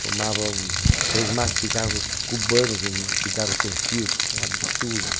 Fumava um três maços de cigarros cubanos, um cigarro sem filtro, um absurdo.